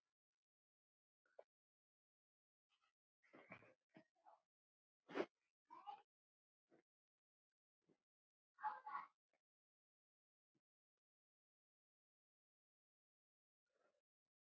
Elsku amma Hanna.